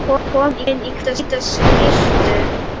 Komin í hvíta skyrtu.